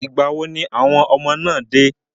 Ìgbà wo ni àwọn ọmọ náà dé?